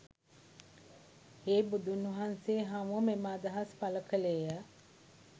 හේ බුදුන්වහන්සේ හමුව මෙම අදහස් පළ කළේ ය.